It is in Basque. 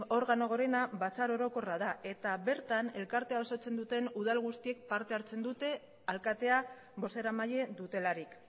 organo gorena batzar orokorra da eta bertan elkartea osatzen duten udal guztiek parte hartzen dute alkatea bozeramaile dutelarik